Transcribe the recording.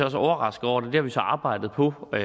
også overrasket over det det har vi så arbejdet på og